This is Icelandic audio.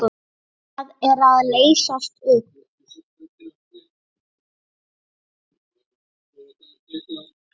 Það er að leysast upp.